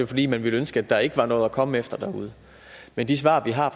fordi man ville ønske at der ikke var noget at komme efter derude men de svar vi har